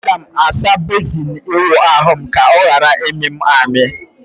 Aga m asa bezin ịwụ ahụ m ka ọ ghara ịmị m amị.